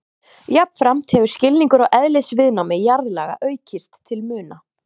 Jafnframt hefur skilningur á eðlisviðnámi jarðlaga aukist til muna.